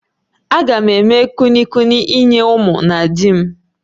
Agam eme kulukuli nye ụmụ na di m